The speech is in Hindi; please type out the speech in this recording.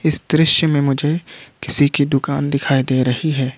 इस दृश्य में मुझे किसी की दुकान दिखाई दे रही है।